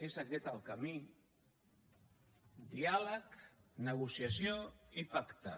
és aquest el camí diàleg negociació i pacte